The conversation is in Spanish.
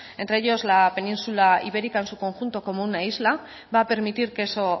entre ellos la península ibérica en su conjunto como una isla va a permitir que eso